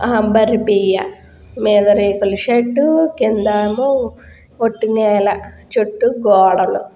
అంబర పియ్య మీద రేకుల షెడ్ కింద ఏమో వొట్టి నేల చుట్టూ గోడలు.